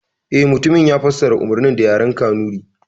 Eh, mutumin ya fassara umarnin da yaren kanuri